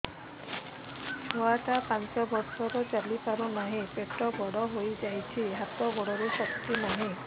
ଛୁଆଟା ପାଞ୍ଚ ବର୍ଷର ଚାଲି ପାରୁ ନାହି ପେଟ ବଡ଼ ହୋଇ ଯାଇଛି ହାତ ଗୋଡ଼ରେ ଶକ୍ତି ନାହିଁ